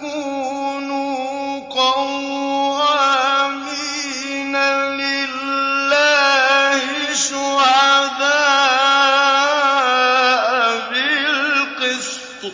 كُونُوا قَوَّامِينَ لِلَّهِ شُهَدَاءَ بِالْقِسْطِ ۖ